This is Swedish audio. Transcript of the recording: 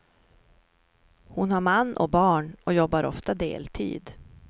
Hon har man och barn, och jobbar ofta deltid.